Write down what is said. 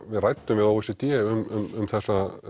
við ræddum við o e c d um þessa